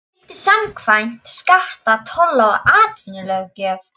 skyldu samkvæmt skatta-, tolla- og atvinnulöggjöf.